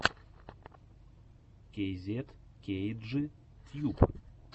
кейзет кейджи тьюб